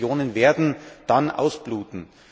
Diese Regionen werden dann ausbluten.